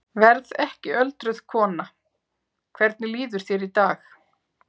Verð ekki öldruð kona Hvernig líður þér í dag?